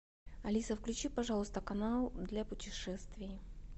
алиса включи пожалуйста канал для путешествий